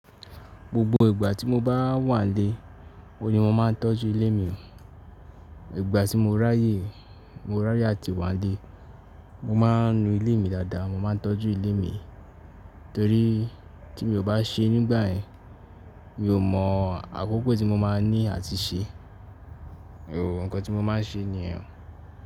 Gbogbo ìgbà tí mo bá wà nílé, oun ni mo máa ń tọ́jú ilé mi. Ìgbà tí mo ráyè, mo ráyè àti wà nílé, mo máa ń nu ilé mi dáadáa, mo máa ń tọ́jú ilé mi. Torí tí mi ò bá ṣe nígbà yẹn, mi ò mọ àkókò tí mo máa ní àti ṣe, òun ǹkan tí mo máa ń ṣe nìyẹn.